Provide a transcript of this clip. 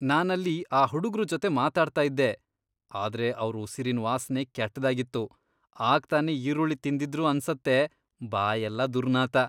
ನಾನಲ್ಲಿ ಆ ಹುಡುಗ್ರು ಜೊತೆ ಮಾತಾಡ್ತಾ ಇದ್ದೆ, ಆದ್ರೆ ಅವ್ರ್ ಉಸಿರಿನ್ ವಾಸ್ನೆ ಕೆಟ್ದಾಗಿತ್ತು.. ಆಗ್ತಾನೇ ಈರುಳ್ಳಿ ತಿಂದಿದ್ರು ಅನ್ಸತ್ತೆ.. ಬಾಯೆಲ್ಲ ದುರ್ನಾತ.